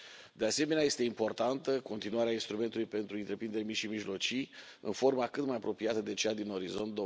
De asemenea, este importantă continuarea instrumentului pentru întreprinderi mici și mijlocii în formă cât mai apropiată de cea din Orizont